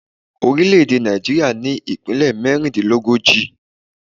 Orílẹ̀ èdè Nàìjíríà ní ìpínlè mérindínlógójì